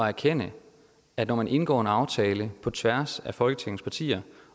erkende at når man indgår en aftale på tværs af folketingets partier